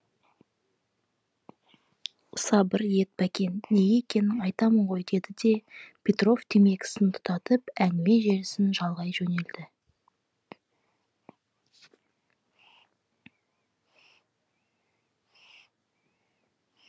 сабыр ет бәкен неге екенін айтамын ғой деді де петров темекісін тұтатып әңгіме желісін жалғай жөнелді